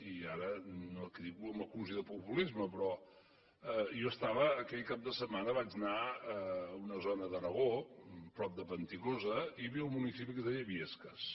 i ara que ningú m’acusi de populisme però jo aquell cap de setmana vaig anar a una zona de l’aragó prop de panticosa i hi havia un municipi que es deia biescas